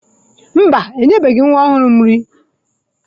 Mba, enyebeghị m nwa ọhụrụ nri.